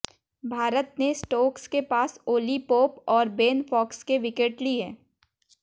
भारत ने स्टोक्स के पास ओली पोप और बेन फॉक्स के विकेट लिए